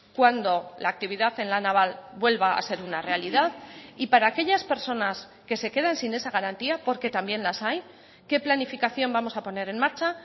cuando la actividad en la naval vuelva a ser una realidad y para aquellas personas que se quedan sin esa garantía porque también las hay qué planificación vamos a poner en marcha